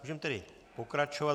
Můžeme tedy pokračovat.